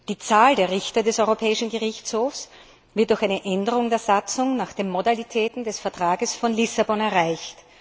Die neue Zahl der Richter des Europäischen Gerichtshofs wird durch eine Änderung der Satzung nach den Modalitäten des Vertrags von Lissabon erreicht.